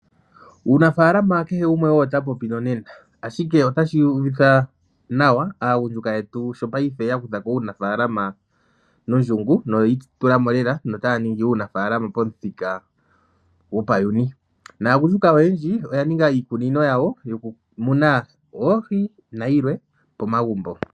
Uunafaalama kehe gumwe owo ta popi nonena, ashike otashi uvitha nawa aagundjuka yetu sho paife ya kutha ko uunafaalama nondjungu noyi itula mo lela, notaya ningi uunafaalama pamuthika gopayuni. Naagundjuka oyendji oya ninga iikunino yawo yokumuna oohi nayilwe pomagumbo.